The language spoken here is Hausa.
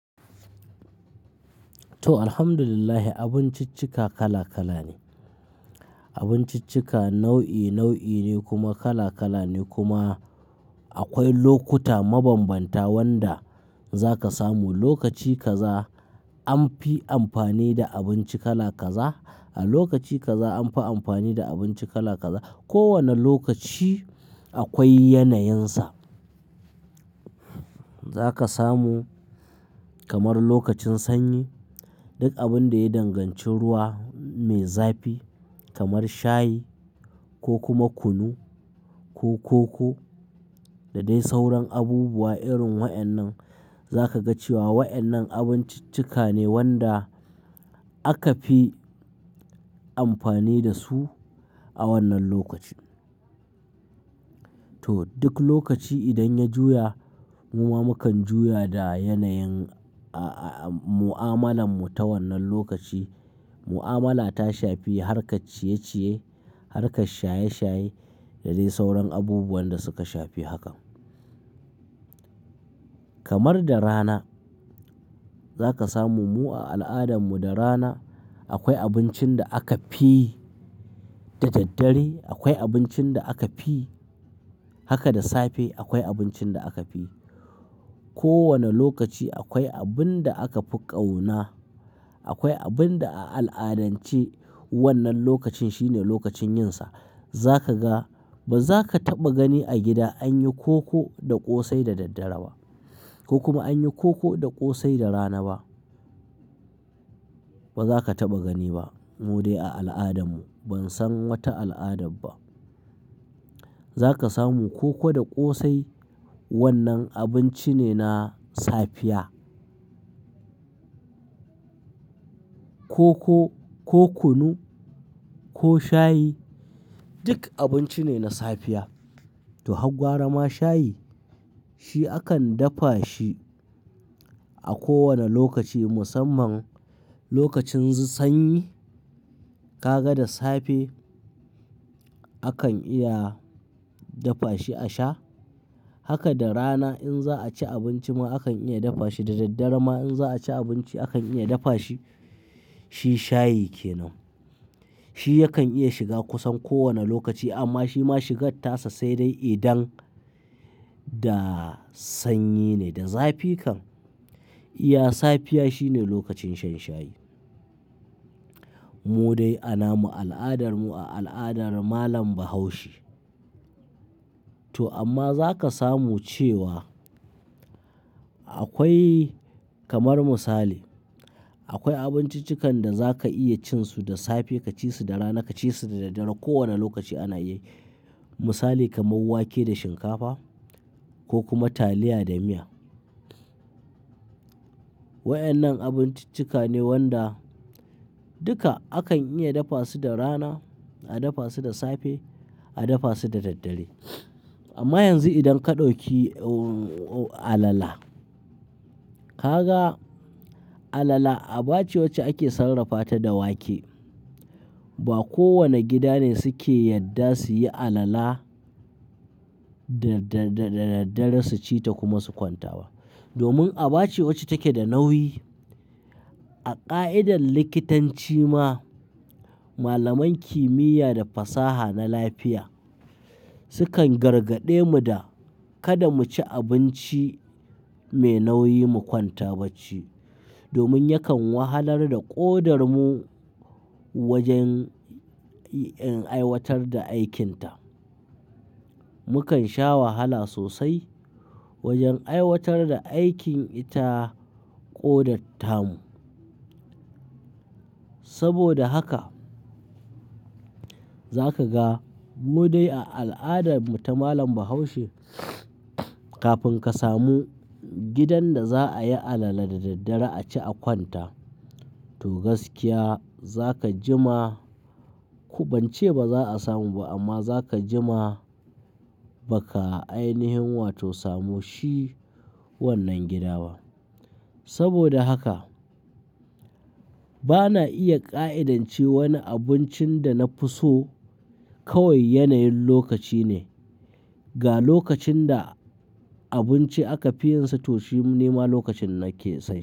To alhamdulillah abinciccika kala kala ne. Abinciccika nau'i nau'i ne kuma kala kala ne kuma akwai lokuta mabanbanta wanda zaka samu lokaci kaza an fi amfani da abinci kala kaza, a lokaci kaza an fi amfani da abinci kala kaza. Ko wane lokaci akwai ya na yinsa. Zaka samu kamar lokacin sanyi. Duk abin da ya danganci ruwa mai zapi kamar shayi ko kuma kunu ko koko da dai sauran abubuwa irin wa'annan. Zaka ga cewa wa'yanan abinciccika ne wanda aka fi amfani da su a wannan lokaci. To duk lokaci idan ya juya muma mukan juya da yanayin, a, a, mu'amalan mu ta wannan lokaci mu'amala ta shafi har ka ciye-ciye, har ka shaye-shaye da dai sauran abubuwan da suka shafi hakan. Kamar da rana zaka samu mu a al'adan mu da rana. Akwai abincin da aka fi da daddare, akwai abincin da aka fi haka da safe, akwai abincin da aka fi. Ko wane lokaci akwai abun da aka fi ƙauna, akwai abun da a al'adance wannan lokacin shine lokacin yinsa. Zaka ga ba za ka taɓa gani a gida an yi koko da ƙosai da daddare ba. Ko kuma an yi koko da ƙosai da rana ba. Ba za ka taɓa gani ba mu dai a al'adarmu ban san wata al'ada ba. Zaka samu koko da ƙosai wannan abinci ne na safiya. Koko ko kunu ko shayi duk abinci ne na safiya. To hagwara ma shayi shi akan dafa shi a ko wane lokaci musamman lokacin sanyi ka ga da safe akan iya dafa shi a sha. Haka da rana in za'a ci abinci ma akan iya dafa shi, da daddare ma in za'a ci abinci akan iya dafa shi. Shi shayi kenan. Shi yakan iya shiga kusan ko wane lokaci amma shi ma shigar tasa sai dai idan da sanyi ne da zafi kan iya safiya shine lokacin shan shayi. Mu dai a namu al'adar mu a al'adar malam bahaushe. To amma za ka samu cewa akwai kamar misali, akwai abinciccikan da za ka iya cin su da safe ka ci su da rana ka ci su da daddare ko wane lokaci ana yi. Misali kamar wake da shinkafa ko kuma taliya da miya. Wa'annan abinciccika ne wanda duka akan iya dafa su da rana, a dafa su da safe, a dafa su da daddare. Amma yanzu idan ka ɗauki alala, ka ga alala aba ce wacce ake sarrafa ta da wake. Ba kowane gida ne suke yadda su yi alala da, da, da, da daddare su ci ta kuma su kwanta ba. Domin aba ce wacce take da nauyi. A ƙa'idar likitanci ma malaman kimiyya da fasaha na lafiya. Su kan gargaɗe mu da. Kada mu ci abinci mai nauyi mu kwanta bacci. Domin yakan wahalar da ƙodar mu wajen in aiwatar da aikinta. Mukan sha wahala sosai wajen aiwatar da aikin ita ƙodar tamu. Saboda haka za ka ga mu dai a al'adarmu ta malam bahaushe. Kafin ka samu gidan da za'a yi alala da daddare a ci a kwanta. To gaskiya zaka jima ku ban ce ba za'a samu ba amma zaka jima ba ka ainihin wato samu shi wannan gida ba. Saboda haka bana iya ƙa'idance wani abincin da na fi so kawai yanayin lokaci ne. Ga lokacin da abinci aka fi yin sa to shi ne ma lokacin nake sai.